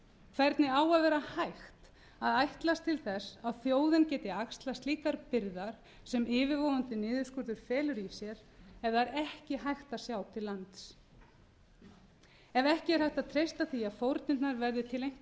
hvernig á að vera hægt að ætlast til þess að þjóðin geti axlað slíkar byrðar sem yfirvofandi niðurskurður felur í sér ef það er ekki hægt að sjá til lands ef ekki er hægt að treysta því að fórnirnar verði til einhvers